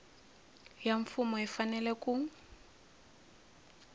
ya mfumo yi fanele ku